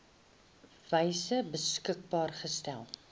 wyse beskikbaar gestel